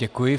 Děkuji.